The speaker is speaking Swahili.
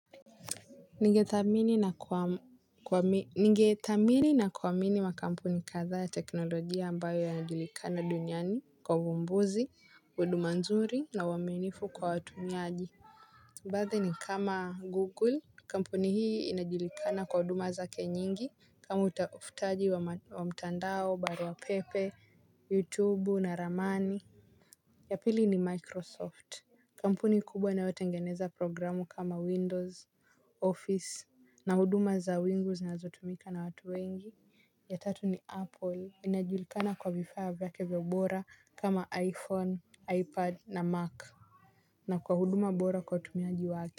Ningethamini na kuamini makampuni kadha ya teknolojia ambayo yanajulikana duniani kwa uvumbuzi, huduma nzuri na uaminifu kwa watumiaji. Baadhi ni kama google kampuni hii inajulikana kwa huduma zake nyingi kama utafutaji wa mtandao, barua pepe, youtube na ramani. Ya pili ni microsoft kampuni kubwa inayotengeneza programu kama windows, office, na huduma za wingu zinazotumika na watu wengi. Ya tatu ni apple, inajulikana kwa vifaa vyake vya bora kama iphone, ipad na mac na kwa huduma bora kwa utumiaji wake.